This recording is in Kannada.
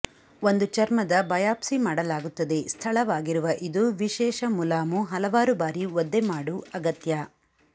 ಒಂದು ಚರ್ಮದ ಬಯಾಪ್ಸಿ ಮಾಡಲಾಗುತ್ತದೆ ಸ್ಥಳವಾಗಿರುವ ಇದು ವಿಶೇಷ ಮುಲಾಮು ಹಲವಾರು ಬಾರಿ ಒದ್ದೆಮಾಡು ಅಗತ್ಯ